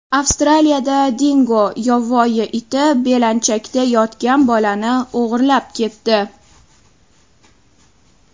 Avstraliyada dingo yovvoyi iti belanchakda yotgan bolani o‘g‘irlab ketdi.